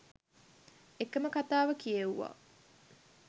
එකම කතාව කියෙව්වා.